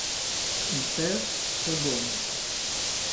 In še se bomo!